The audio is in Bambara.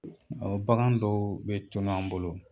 Ɔ bagan dɔw bɛ tunu an bolo